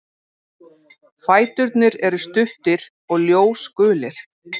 Fæturnir eru stuttir og ljósgulir.